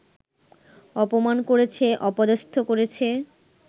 অপমান করেছে, অপদস্থ করেছে